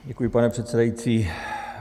Děkuji, pane předsedající.